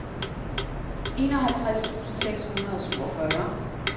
enoghalvtreds tusind seks hundrede og syvogfyrre